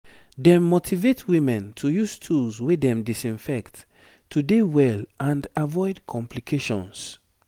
dem motivate women to use tools wey dem disinfect to dey well and avoid complications